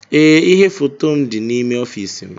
Ee ihe foto m dị n'ime ọfiisi m